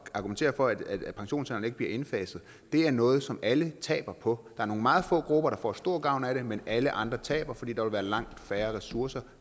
at argumentere for at pensionsalderens bliver indfaset er noget som alle taber på er nogle meget få grupper der får stor gavn af det men alle andre taber fordi der vil være langt færre ressourcer